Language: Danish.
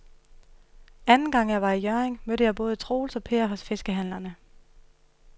Anden gang jeg var i Hjørring, mødte jeg både Troels og Per hos fiskehandlerne.